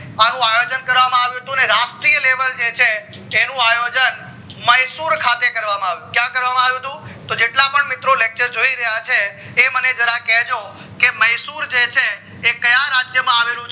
અબુ આયોજન કરવામાં આવ્યું હતું અને રાષ્ટ્રીય level જે છે તેનું આયોજન માય્સુર ખાતે કરવામાં આવ્યું હતું ક્યાં કરવામાં આવ્ય હતું મહીસુર તો જેટલા પણ મિત્રો lecture જોઈ રહ્યા છે એ મને જરા કેજો કે માય્સુર જે છે એ કયા રાજ્ય માં આવેલું છે